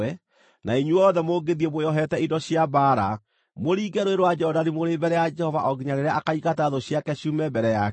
na inyuothe mũngĩthiĩ mwĩohete indo cia mbaara, mũringe Rũũĩ rwa Jorodani mũrĩ mbere ya Jehova o nginya rĩrĩa akaingata thũ ciake ciume mbere yake,